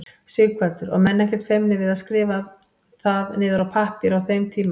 Sighvatur: Og menn ekkert feimnir við að skrifa það niður á pappír á þeim tíma?